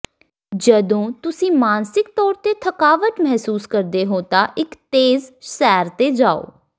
ਜਦੋਂ ਤੁਸੀਂ ਮਾਨਸਿਕ ਤੌਰ ਤੇ ਥਕਾਵਟ ਮਹਿਸੂਸ ਕਰਦੇ ਹੋ ਤਾਂ ਇੱਕ ਤੇਜ਼ ਸੈਰ ਤੇ ਜਾਓ